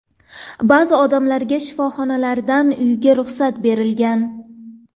Ba’zi odamlarga shifoxonalardan uyga ruxsat berilgan.